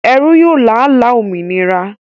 Ẹrú yóò lála òmìnira